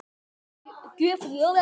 Hún var svo gjöful.